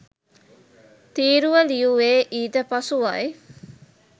තීරුව ලියුවේ ඊට පසුවයි